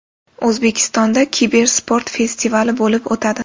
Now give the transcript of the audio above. O‘zbekistonda kibersport festivali bo‘lib o‘tadi.